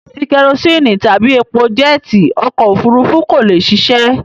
Láìsí kẹrosíínì tàbí epo jẹ́ẹ́tì okọ̀-òfurufú kò lè ṣiṣẹ́.